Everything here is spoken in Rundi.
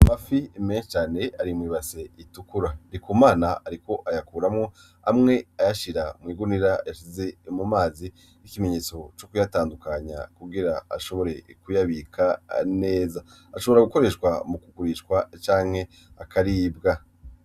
Amafi menshi cane ari mw'ibase itukura. Ndikumana ariko ayakuramwo amwe ayashira mw'igunira yashize mumazi. Nki'ikimenyetso co kuyatandukanya kugirango ashobore kuyabika neza. Ashobora gukoreshwa mu kugurishwa canke akaribwa.